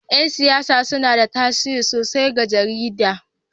Yan siyasa suna da tasiri sosai ga jaridar